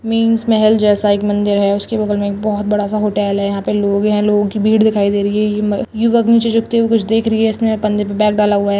मिंश महल जैसा एक मंदिर है उसके बगल में एक बहुत बड़ा सा होटेल है यहां लोग है लोगों की भीड़ दिखाई दे रही है युवक नीचे झुकते हुए कुछ देख रही है इसने कंधे पे बैग डाला हुआ है।